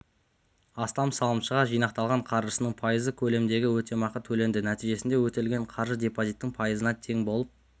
астам салымшыға жинақталған қаржысының пайызы көлемінде өтемақы төленді нәтижесінде өтелген қаржы депозиттің пайызына тең болып